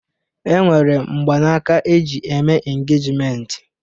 E nwere mgbanaka eji eme engejmenti